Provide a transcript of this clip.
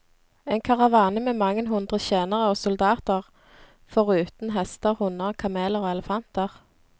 En karavane med mange hundre tjenere og soldater, foruten hester, hunder, kameler og elefanter.